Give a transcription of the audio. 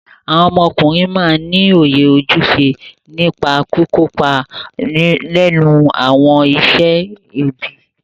Awọn ọmọkùnrin máa ní òye ojúṣe nípa kìkópa nínú awọn iṣẹ ẹbí.